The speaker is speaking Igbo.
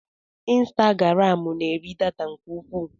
Insitagaram n'eri data nke ukwuu.